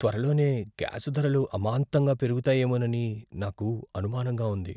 త్వరలోనే గ్యాస్ ధరలు అమాంతంగా పెరుగుతాయేమోనని నాకు అనుమానంగా ఉంది.